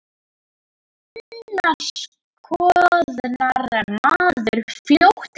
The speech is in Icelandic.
Annars koðnar maður fljótt niður.